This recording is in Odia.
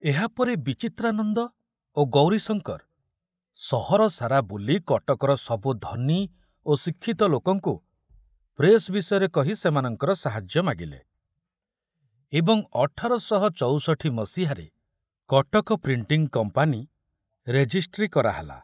ଏହାପରେ ବିଚିତ୍ରାନନ୍ଦ ଓ ଗୌରୀଶଙ୍କର ସହର ସାରା ବୁଲି କଟକର ସବୁ ଧନୀ ଓ ଶିକ୍ଷିତ ଲୋକଙ୍କୁ ପ୍ରେସ ବିଷୟରେ କହି ସେମାନଙ୍କର ସାହାଯ୍ୟ ମାଗିଲେ ଏବଂ ଅଠର ଶହ ଚୌଷଠୀ ମସିହାରେ କଟକ ପ୍ରିଣ୍ଟିଂ କମ୍ପାନୀ ରେଜିଷ୍ଟ୍ରି କରାହେଲା।